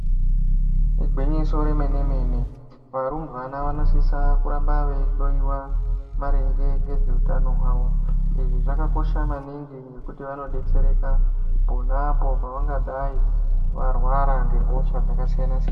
Igwinyiso remene mene varumbwana vanosisa kuramba veihloyiwa maringe ngezveutano hwavo. Izvi zvakakosha maningi ngekuti vanonodetsereka pona apo pavangadai varwara ngehosha dzakasiyana siyana.